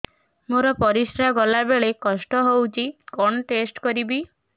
ମୋର ପରିସ୍ରା ଗଲାବେଳେ କଷ୍ଟ ହଉଚି କଣ ଟେଷ୍ଟ କରିବି